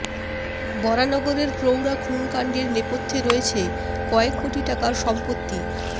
বরানগরের প্রৌঢ়া খুন কাণ্ডের নেপথ্যে রয়েছে কয়েক কোটি টাকার সম্পত্তি